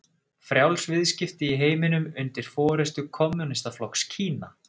Frjáls viðskipti í heiminum undir forystu kommúnistaflokks Kína?